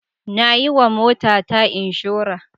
Na yiwa motata inshora.